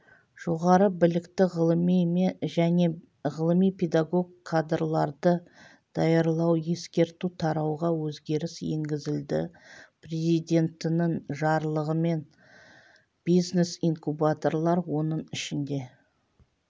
жоғары білікті ғылыми және ғылыми-педагог кадрларды даярлау ескерту тарауға өзгеріс енгізілді президентінің жарлығымен бизнес-инкубаторлар оның ішінде